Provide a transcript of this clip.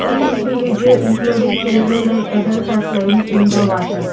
some individual including children and adults are playing in the water.